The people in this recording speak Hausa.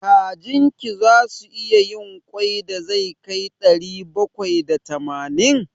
Kajin ki zasu iya yin ƙwai da zai kai ɗari bakwai da tamanin?